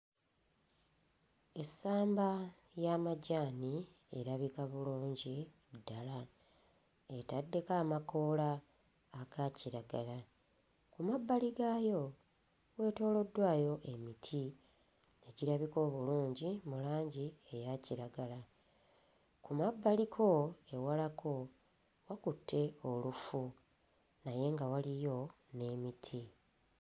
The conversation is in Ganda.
Essamba y'amajaani erabika bulungi ddala, etaddeko amakoola aga kiragala. Ku mabbali gaayo weetooloddwayo emiti egirabika obulungi mu langi eya kiragala, ku mabbaliko ewalako wakutte olufu naye nga waliyo n'emiti.